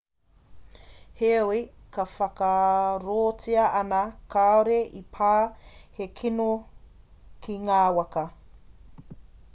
heoi e whakaarotia ana kāore i pā he kino ki ngā waka